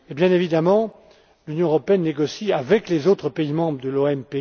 Bien évidemment, l'Union européenne négocie avec les autres pays membres de l'OMPI.